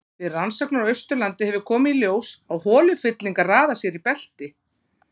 Við rannsóknir á Austurlandi hefur komið í ljós að holufyllingar raða sér í belti.